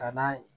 Ka na